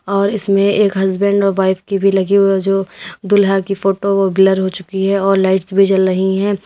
और इसमें एक हसबैंड और वाइफ की भी लगी हुई है जो दुल्हा की फोटो ब्लर हो चुकी है और लाइट्स भी जल रही है।